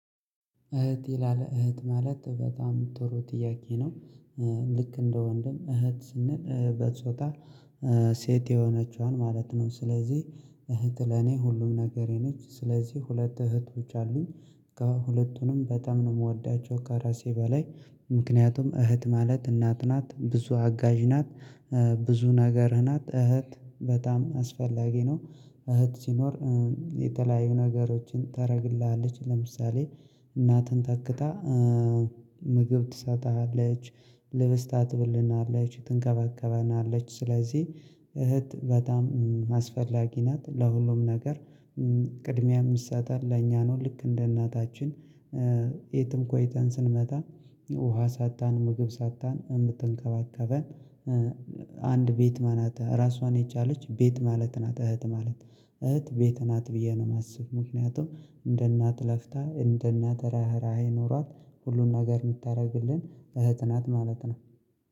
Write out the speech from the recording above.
እህት ይላል እህት ማለት በጣም ጥሩ ጥያቄ ነው። ልክ እንደ ወንድም እህት ስንል በጾታ ሴት የሆነችዋን ማለት ነው። ስለዚህ እህት ለኔ ሁሉም ነገሬ ነች ስለዚህ ሁለት እህቶች አሉኝ ከሁለቱንም በጣም ነው የምወዳቸው ከራሴ በላይ ምክንያቱም እህት ማለት እናት ናት ብዙ አጋዥ ናት። ብዙ ነገርህ ናት እህት በጣም አስፈላጊ ነው። እህት ሲኖር የተለያዩ ነገሮችን ታረግልሀለች ለምሳሌ እናትን ተክታ ምግብ ትሰጣለች። ልብስ ታጥብልናለች ትንከበከበናለች ስለዚህ እህት በጣም አስፈላጊ ናት ለሁሉም ነገር። ቅድሚያ የምትሰጣት ለኛ ነው ልክ እንደ እናታችን። የትም ኮይተን ስንመጣ ውሃ ሳታን ምግብ ሳታን የምትንከባከበን። አንድ ቤት ማናት ራሷን የቻለች ቤት ማለት ናት። እህት ማለት እህት ቤት ናት ብዬ ነው የማስብ። ምክንያቱም እንደ እናት ለፍታ እንደ እናት ራህራሄ ኖሯት ሁሉን ነገር የምታደርግልን እህት ናት ማለት ነው።